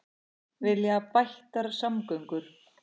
Vilja bættar samgöngur